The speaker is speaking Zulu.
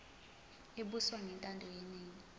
ebuswa ngentando yeningi